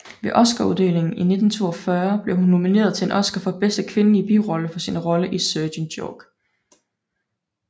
Ved Oscaruddelingen i 1942 blev hun nomineret til en Oscar for bedste kvindelige birolle for sin rolle i Sergent York